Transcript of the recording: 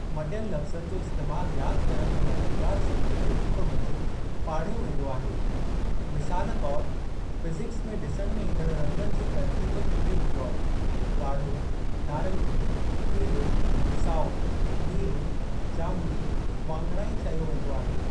मटियल लफ़्ज़नि जो इस्तैमालु यादि करण में मददगारु ज़रिये जे रूप मंझि पाढ़ियो वेंदो आहे, मिसालु तौर फ़िज़िकस में ॾिसण में ईंदण रंगनि जी तर्तीब खे विबग्योर (ॻाढ़ो, नारंगी, पीलो, साओ, नीरो, जामुनी, वाङणाई) चयो वेंदो आहे।